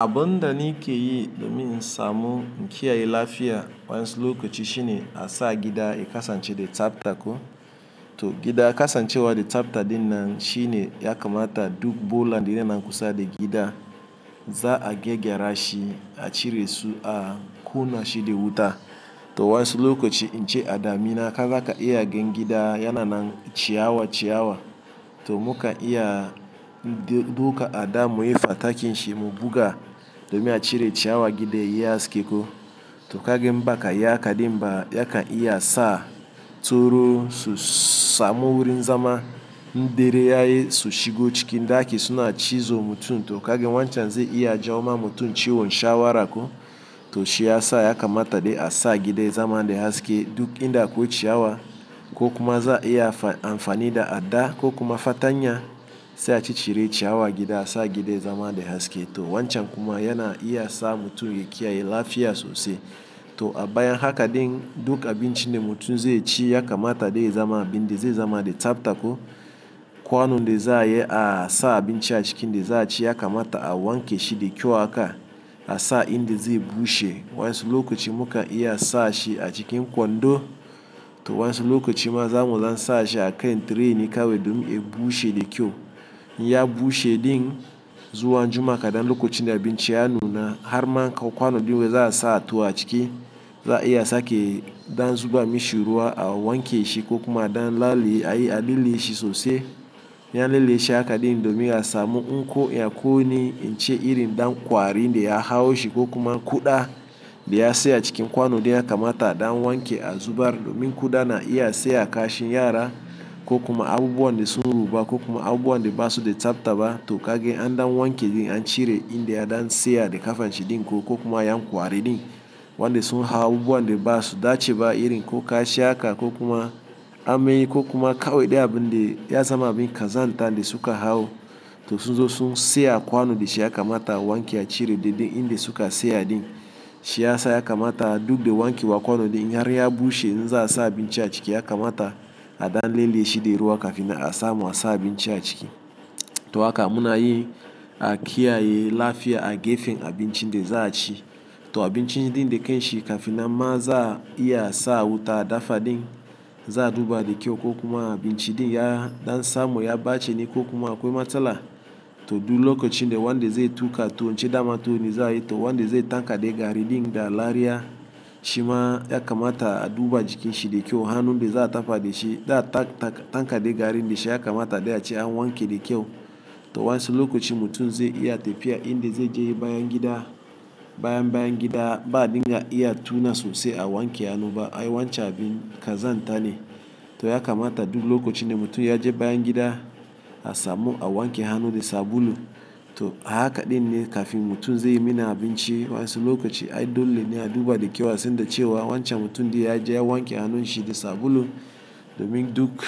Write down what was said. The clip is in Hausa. Abun da ni ke yi domin samu in kiyaye lafiya wayannsu lokaci, shi ne a sa gida ya kasance da tsafta ko. To gida kasancewa de tsafta din nan shi ne ya kamata duk bola da yana kusa da gida, za a gyegera shi a ciresu a kuna shi da wuta. To wayansu lokoci in ce a damina, kaza, ka iya gan gida yana nan ciyawa ciyawa. To muka iya doka ada muyi fatakin shi, mu buga domi a cire ciyawa gida yayi haske ko. To kagan in baka yi haka ɗin ba za ka iya sa tsoro su samu wurin zama, in dare yayi so shigo cikin daki suna cizo mutum. To kagan wancan zai iya jawo ma mutum ciwon shawara ko. To shi ya sa ya kamata dai a sa gida ya zama da haske, duk inda akwai ciyawa, ko kuma za a iya amfani da ada ko kuma fatanya, sai a ci cire ciyawa gida a sa gida ya zama da haske. To wancan kuma yana iya sa mutum ya kiyaye lafiya sosai. To a baya haka ɗin, duk abun ci ɗa mutum zai ci ya kamata dai ya zama abin da zai zama da tsafta ko. Kwano da za iya sa abin ci a ciki da za a ci ya kamata a wanke shi da kyau haka a sa in da zai bushe. Wansuluko chi muka iya sa shi a cikin kwando. To wayansu lokaci ma, za mu dan sa shi a kan tray ne kawai domin ya bushe da kyau. In ya bushe din zuwa jima kaɗan lokocin abin ci a nuna, har ma an kawo kwano din wai za a sa tuwo a ciki, za a iya sake dan zuba mishi ruwa a wanke shi ko kuma dan laliye, a lilleshi sosai. In ya lilleshi haka din domin a samu in ko ya kuni, in ce iri dan kwari da ya hau shi, ko kuma kuɗa da ya siya cikin kwano din ya kamata a dan wanke a zubar, domin kuɗa na iya siya a kashi yara ko kuma abubuwan da sun ruba, ko kuma abubuwan de ba su da tsafta ba. To kagan an dan wanke din an cire inda ya dan sa ya de kafanshi ɗin ko, ko kuma yan kwari ɗin wanda sun hawo abubuwan da ba su dace ba, irin ko kashi haka ko kuma ammai, ko kuma kawai ɗai abin da ya zama abin kazanta dai suka hawo. To sun zo sun siya a kwano da shi, ya kamata a wanke a cire daidai inda suka siya ɗin. Shi ya sa ya kamata, duk da wanke wa kwano ɗin in har ya bushe in za sa abin ci a ciki ya kamata a dan lilleshi da ruwa kafin a samu a sa abin ci a ciki. To haka muna yi a kiyaye lafiya a gefen abin cin ɗa za ci. To abinci ɗin da kai shi, kafin nan ma za a iya sa wuta a dafa din, za a duba da kyau ko kuma abinci ɗin ya dan samu ya ɓace ne, ko kuma akwai matsala. To duk lokocin da wanda zai tuƙa tuwo, in ce dama tuwo ne za yi to wanda zai tankade gari din da lariya, shima ya kamata a duba jikin shi da kyau, hannun da za a dafa da shi za tankade gari da shi ya kamata dai a ce an wanke da kyau. To wayansu lokoci mutum zai iya tafiya in da zai je yayi bayangida, bayan bayangida ba a ɗinga iya tuna sosai a wanke hannu ba. Ai wancan abin kazan ta ne. To ya kamata duk lokocin da mutum ya je bayan gida, a samu a wanke hannu da sabulu. To a haka din ne kafin mutum zai yi mi ni abinci, wayansu lokoci ai dole ne a duba da kyau a san da cewa wancan mutum ɗin ya je ya wanke hannun shi da sabulu, domin duk